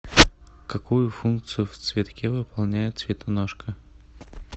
какую функцию в цветке выполняет цветоножка